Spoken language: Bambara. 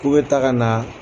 K'u bɛ taa ka na